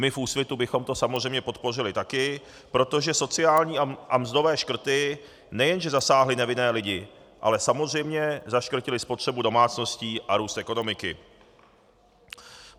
My v Úsvitu bychom to samozřejmě podpořili také, protože sociální a mzdové škrty nejen že zasáhly nevinné lidi, ale samozřejmě zaškrtily spotřebu domácností a růst ekonomiky.